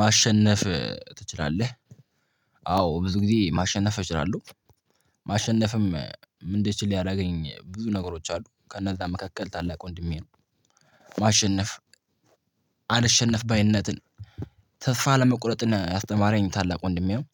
ማሸነፍ ትችላለህ? አዎ ብዙ ጊዜ ማሸነፍ እችላለሁ። ማሸነፍም እንድችል ያደርገኝ ብዙ ነገሮች አሉ ከነዛ መካከል ታላቅ ወንድሜ ነው። ማሸነፍ አልሸነፍ ባይነትን ተስፋ አለመቁረጥን ያስተማረኝ ታላቅ ወንድሜ ነው።